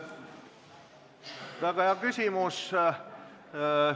Väga hea küsimus!